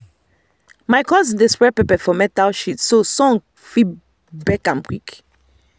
my cousin dey spread pepper for metal sheet so sun fit bake am quick.